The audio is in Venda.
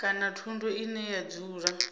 kana thundu ine ya dzula